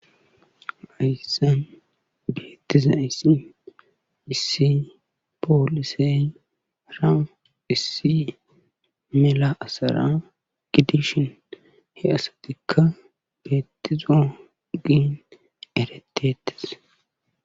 Hayssan beettizaissi issi poolisey ra issi mela'asara gidishin he asatikka beettizo giin eretettes/